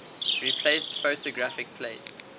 replaced photographic plates